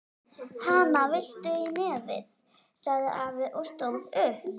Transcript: Hana, viltu í nefið? sagði afi og stóð upp.